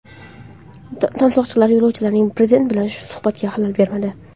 Tansoqchilar yo‘lovchilarning prezident bilan suhbatiga xalal bermadi.